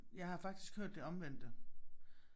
Jeg har faktisk hørt det omvendte